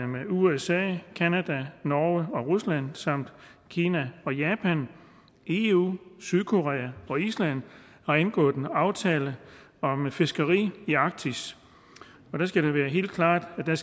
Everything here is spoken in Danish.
med usa canada norge og rusland samt kina japan eu sydkorea og island har indgået en aftale om fiskeri i arktis og der skal det være helt klart at der